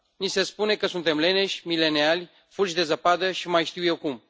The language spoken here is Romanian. Ni se spune că suntem leneși, mileniali, fulgi de zăpadă, și mai știu eu cum.